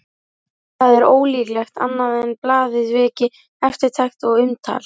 Það er ólíklegt annað en blaðið veki eftirtekt og umtal.